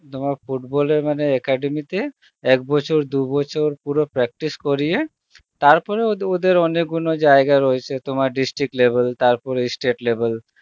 তোমার football এ মানে academy তে, এক বছর দু বছর পুরো practice করিয়ে, তারপরে ওদে~ ওদের অনেকগুণ জায়গা রয়েছে তোমার district level তার পরে state level